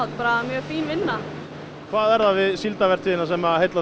bara mjög fín vinna hvað er það við síldarvertíð sem heillar